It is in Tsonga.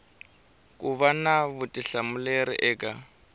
ku va na vutihlamuleri eka